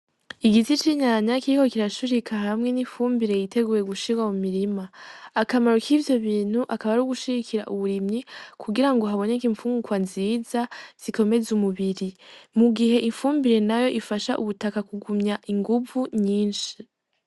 Igiti c'inkanka kiriko kiracurika hamwe n'ifumbire yiteguye gushirwa mu murima akamaro kivyo bintu akaba ari ugushigikira uburimyi ku girango haboneke infungurwa nziza zi komeza umubiri mu gihe ifumbire nayo ifasha ubutaka ku gumya inguvu nyishi.